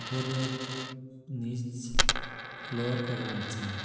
ঘরের নীচ ফ্লোর করা আছে।